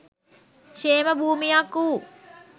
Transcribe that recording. ක්‍ෂේම භූමියක් වූ